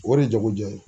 O de ye jagojɛ ye